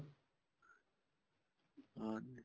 ਹਾਂਜੀ